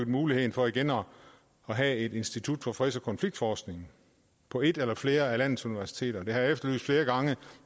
muligheden for igen at have et institut for freds og konfliktforskning på et eller flere af landets universiteter det har jeg efterlyst flere gange